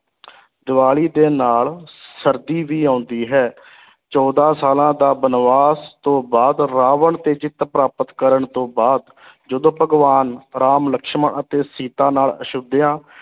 ਦੀਵਾਲੀ ਦੇ ਨਾਲ ਸਰਦੀ ਵੀ ਆਉਂਦੀ ਹੈ ਚੌਦਾਂ ਸਾਲਾਂ ਦਾ ਬਨਵਾਸ ਤੋਂ ਬਾਅਦ ਰਾਵਣ ਤੇ ਜਿੱਤ ਪ੍ਰਾਪਤ ਕਰਨ ਤੋਂ ਬਾਅਦ ਜਦੋਂ ਭਗਵਾਨ ਰਾਮ ਲਕਸ਼ਮਣ ਅਤੇ ਸੀਤਾ ਨਾਲ ਅਯੋਧਿਆ